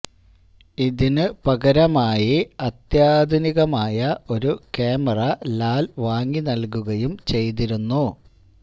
ഇതിനു പകരമായി അത്യാധുനികമായ ഒരു ക്യാമറ ലാല് വാങ്ങി നല്കുകയും ചെയ്തിരുന്നു